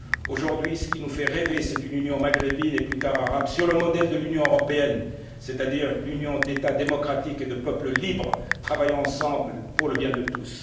monde. Aujourd'hui, ce qui nous fait rêver c'est une union maghrébine, et plus tard arabe, sur le modèle de l'Union européenne, c'est à dire une union d'États démocratiques et de peuples libres, travaillant ensemble pour le bien de